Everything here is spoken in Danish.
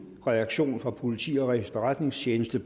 reaktion fra politi og efterretningstjeneste